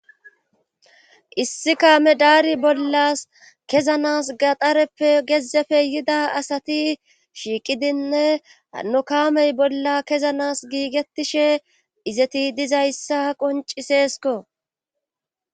Issi kaame daari bollas kezanas gaxareppe gezefe yida asati shiiqidinne anno kaamey bolla kezanas giigettishe izeti dizayssa qonciseesko.